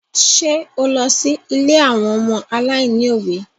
Ṣé o lọ sí ilé àwọn ọmọ aláìní òbí?